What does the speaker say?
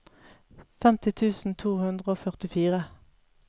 femti tusen to hundre og førtifire